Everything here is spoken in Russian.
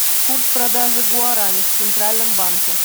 курс продажи гуарани в центральном банке